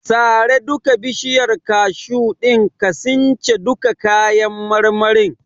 Sare duka bishiyar kashu din ka since duka kayan marmarin.